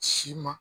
Si ma